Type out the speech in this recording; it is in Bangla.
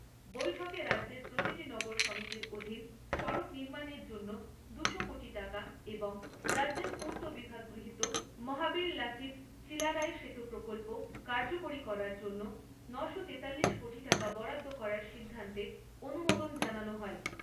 বৈঠকে রাজ্যের প্রতিটি নগর সমিতির অধীন সড়ক নির্মানের জন্য দুশো কোটি টাকা এবং রাজ্যের পূর্ত বিভাগ গৃহীত মহাবীর লাচিত চিলারায় সেতু প্রকল্প কার্যকরী করার জন্য নশো তিতাল্লিশ কোটি টাকা বরাদ্দ করার সিদ্ধান্তে অনুমোদন জানানো হয়।